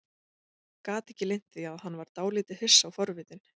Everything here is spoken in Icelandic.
Gat ekki leynt því að hann var dálítið hissa og forvitinn.